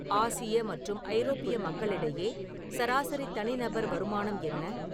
Asia மற்றும் ஐரோப்பிய மக்களிடையே சராசரி தனிநபர் வருமானம் என்ன